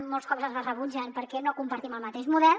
molts cops ens les rebutgen perquè no compartim el mateix model